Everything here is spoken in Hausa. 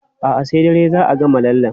A'a, sai dare za a gama lallen.